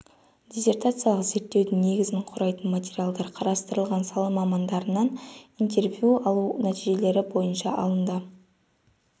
диссертациялық зерттеудің негізін құрайтын материалдар қарастырылған сала мамандарынан интервью алу нәтижелері бойынша алынды